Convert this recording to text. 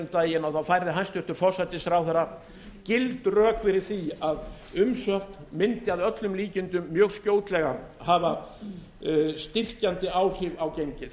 daginn færði hæstvirtur forsætisráðherra gild rök fyrir því að umsókn mundi að öllum líkindum mjög skjótlega hafa styrkjandi áhrif á gengið